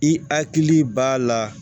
I hakili b'a la